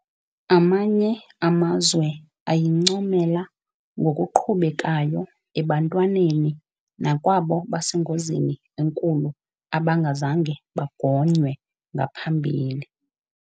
Amanye amazwe ayincomela ngokuqhubekayo ebantwaneni nakwabo basengozini enkulu abangazange bagonywe ngaphambili.